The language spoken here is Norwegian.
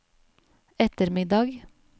ettermiddag